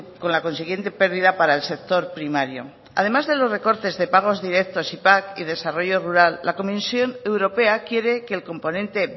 con la consiguiente pérdida para el sector primario además de los recortes de pagos directos y pac y desarrollo rural la comisión europea quiere que el componente